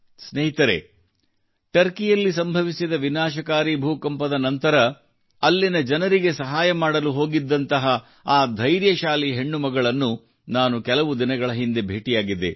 ಸ್ನೇಹಿತರೇ ಟರ್ಕಿಯಲ್ಲಿ ಸಂಭವಿಸಿದ ವಿನಾಶಕಾರಿ ಭೂಕಂಪದ ನಂತರ ಅಲ್ಲಿನ ಜನರಿಗೆ ಸಹಾಯ ಮಾಡಲು ಹೋಗಿದ್ದಂತಹ ಆ ಧೈರ್ಯಶಾಲಿ ಹೆಣ್ಣುಮಕ್ಕಳನ್ನು ನಾನು ಕೆಲವು ದಿನಗಳ ಹಿಂದೆ ಭೇಟಿಯಾಗಿದ್ದೆ